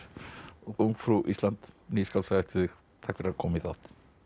ungfrú Ísland ný skáldsaga eftir þig takk fyrir að koma í þáttinn